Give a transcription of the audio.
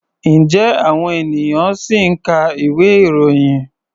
Ǹjẹ́ àwọn ènìyàn ṣì ń ka ìwé-ìròyìn?